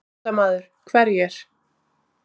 Fréttamaður: Hverjir?